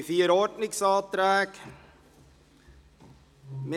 Es liegen vier Ordnungsanträge vor.